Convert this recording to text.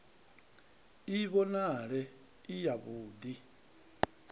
i vhonale i yavhud i